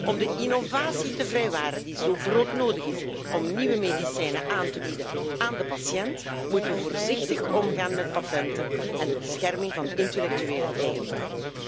Om de innovatie te vrijwaren, die zo broodnodig is om nieuwe medicijnen aan te bieden aan de patiënt, moeten we voorzichtig omgaan met patenten en de bescherming van intellectuele eigendom.